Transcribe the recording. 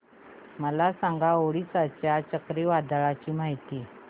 मला सांगा ओडिशा च्या चक्रीवादळाची माहिती